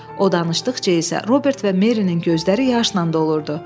O danışdıqca isə Robert və Merinin gözləri yaşla dolurdu.